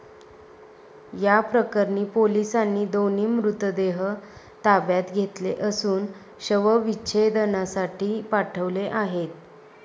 याप्रकरणी पोलिसांनी दोन्ही मृतदेह ताब्यात घेतले असून शवविच्छेदनासाठी पाठवले आहे.